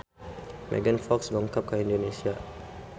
Megan Fox dongkap ka Indonesia